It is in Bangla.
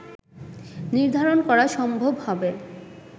নির্ধারণ করা সম্ভব হবে